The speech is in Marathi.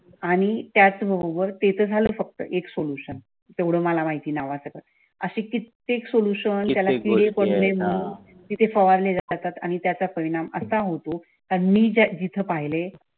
आणि त्याचं बरोबार तेथे झालं फक्त एक सोल्यूशन तेवढं मला माहिती आहे नावासकट अशी कित्येक सोल्यूशन फवारले जातात आणि त्याचा परिणाम असा होतो आणि मी जिथं पाहिले.